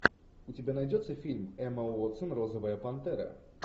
у тебя найдется фильм эмма уотсон розовая пантера